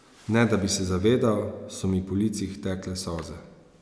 Ne da bi se zavedal, so mi po licih tekle solze.